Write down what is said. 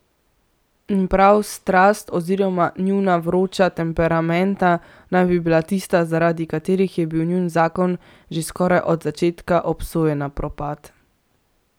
In prav strast oziroma njuna vroča temperamenta naj bi bila tista, zaradi katerih je bil njun zakon že skoraj od začetka obsojen na propad.